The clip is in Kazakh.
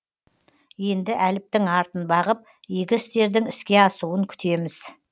енді әліптің артын бағып игі істердің іске асуын күтеміз